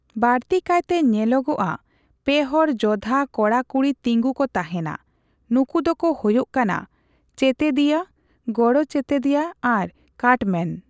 ᱵᱟᱲᱛᱤᱠᱟᱭᱛᱮ ᱧᱮᱞᱚᱜᱼᱟ, ᱯᱮ ᱦᱚᱲ ᱡᱚᱫᱷᱟ ᱠᱚᱲᱟ ᱠᱚᱬᱨᱮ ᱛᱤᱸᱜᱩ ᱠᱚ ᱛᱟᱦᱮᱸᱱᱟ, ᱱᱚᱠᱩ ᱫᱚᱠᱚ ᱦᱳᱭᱳᱜ ᱠᱟᱱᱟ ᱪᱮᱛᱮᱫᱤᱭᱟᱹ, ᱜᱚᱲᱚ ᱪᱮᱛᱮᱫᱤᱭᱟᱹ ᱟᱨ ᱠᱟᱴᱢᱮᱱ ᱾